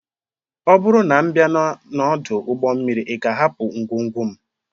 Ọ bụrụ na m bịa n'ọdụ ụgbọ mmiri, ị ga-ahapụ ngwongwo m?